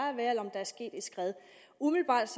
der er sket et skred umiddelbart